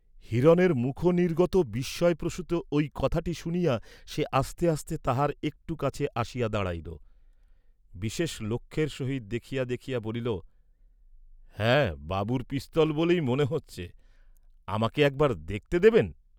হিরণের মুখনির্গত বিস্ময়প্রসূত ঐ কথাটি শুনিয়া সে আস্তে আস্তে তাঁহার একটু কাছে আসিয়া দাঁড়াইল; বিশেষ লক্ষের সহিত দেখিয়া দেখিয়া বলিল, "হ্যাঁ, বাবুর পিস্তল বলেই মনে হচ্ছে, আমাকে একবার দেখতে দেবেন?"